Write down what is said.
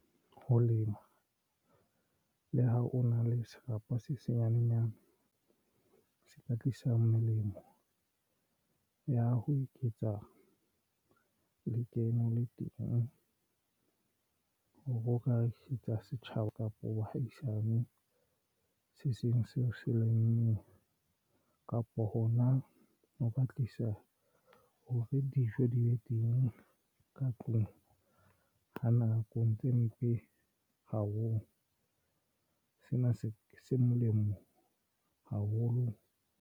Ho lema le ha o na le serapa se senyanena se ka tlisa melemo ya ho eketsa lekeno le teng hore o ka re tsa setjhaba kapo bohaisane se seng seo se lemmeng kapo hona ho ba tlisa ho be dijo di be teng le ka tlung ha nakong tse mpe haholo. Sena se molemo haholo.